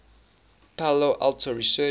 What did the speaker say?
palo alto research